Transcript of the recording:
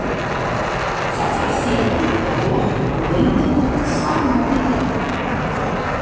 Það þarf því að tyggja vel og lengi sama tyggjóið!